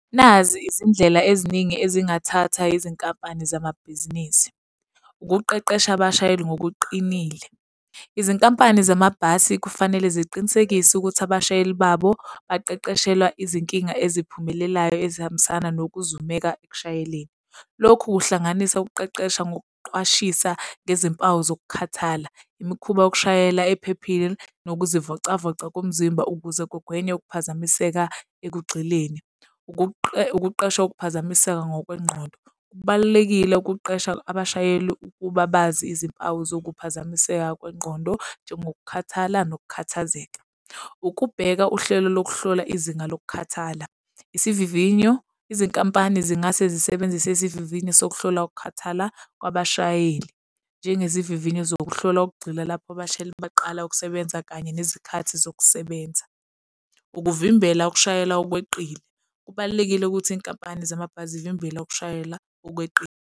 Nazi izindlela eziningi ezingathatha yizinkampani zamabhizinisi, ukuqeqesha abashayeli ngokuqinile. Izinkampani zamabhasi kufanele ziqinisekise ukuthi abashayeli babo baqeqeshelwa izinkinga eziphumelelayo ezihambisana yokuzumeka ekushayeleni. Lokhu kuhlanganisa ukuqeqesha ngokuqwashisa ngezimpawu zokukhathala, imikhuba yokushayela ephephile nokuzivocavoca komzimba ukuze kugwenywe ukuphazamiseka ekugxileni. Ukuqeshwa ukuphazamiseka ngokwengqondo. Kubalulekile ukuqesha abashayeli ukuba bazi izimpawu zokuphazamiseka kwengqondo, njengokukhathala nokukhathazeka. Ukubheka uhlelo lokuhlola izinga lokukhathala. Isivivinyo, izinkampani zingase zisebenzise izivivinyo sokuhlola ukukhathala kwabashayeli, njengezivivinyo zokuhlola ukugxila lapho abashayeli baqala ukusebenza kanye nezikhathi zokusebenza. Ukuvimbela ukushayela okweqile. Kubalulekile ukuthi iy'nkampani zamabhasi zivimbela ukushayela okweqile.